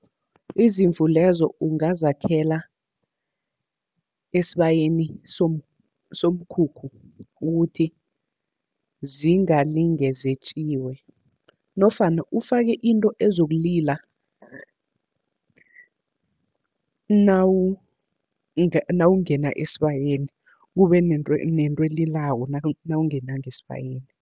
Izimvu lezo ungazakhela esibayeni somkhukhu, ukuthi zingalinge zetjiwe, nofana ufake into ezokulila nawungena esibayeni, kube nento elilako nawungena ngesibayeni.